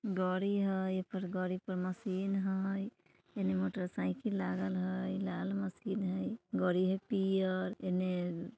गाड़ी हय एकर गाड़ी पर मशीन हय इने मोटरसाइकिल लागल हय लाल मशीन हय गाड़ी हय पियर इने --